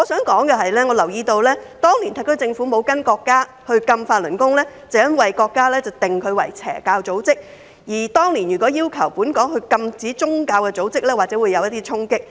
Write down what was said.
我留意到當年特區政府沒有跟隨國家禁止法輪功，因為國家將之定性為"邪教組織"，所以當年禁止宗教組織或許會產生衝擊。